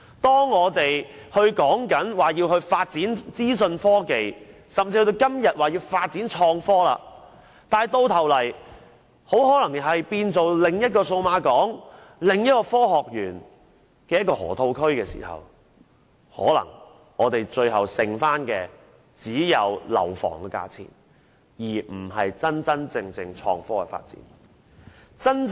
當我們說要發展資訊科技甚至創新科技時，種種措施到頭來卻很可能變成另一個數碼港、科學園、河套區，最後剩餘的可能只有樓房的價錢，而不是真正的創科發展。